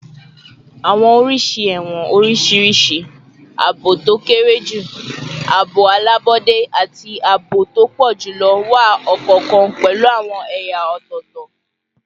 Awọn oriṣi ẹwọn oriṣiriṣi - aabo to kere ju, aabo alabọde, ati aabo to pọ julọ - wa, ọkọọkan pẹlu awọn ẹya ọtọtọ